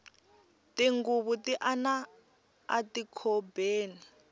tinghuvu ti ana ati khobeni